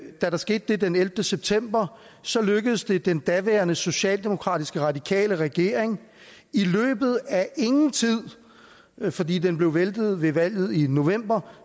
der skete den ellevte september så lykkedes det den daværende socialdemokratisk radikale regering i løbet af ingen tid fordi den blev væltet ved valget i november